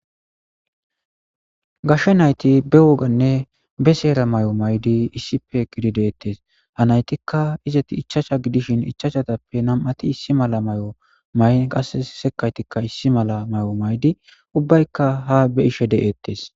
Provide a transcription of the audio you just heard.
Gashe nay'iti be woganne be sera mayo mayidi issippe eqidi detes. Itika izeti ichavhchu gidishin ichachatuppe nam'ati issi mala mayo mayin qasseka sekaytika issimala mayo mayidi ubayka ha be'ishe de'etees.